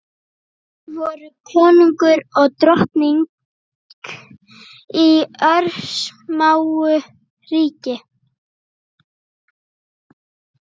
Voru kóngur og drottning í örsmáu ríki.